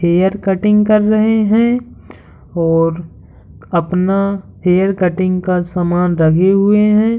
Hair cutting कर रहे है और अपना हेयर कटिंग का सामान रगे हुए है।